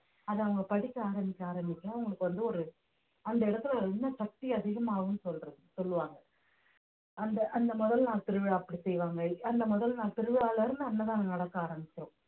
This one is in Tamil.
அதை அவங்க படிக்க ஆரம்பிக்க ஆரம்பிக்க அவங்களுக்கு வந்து ஒரு அந்த இடத்துல இன்னும் சக்தி அதிகமாகும்ன்னு சொல்றது~ சொல்லுவாங்க அந்த அந்த முதல் நாள் திருவிழா அப்படி செய்வாங்க அந்த முதல் நாள் திருவிழால இருந்து அன்னதானம் நடத்த ஆரமிச்சிரும்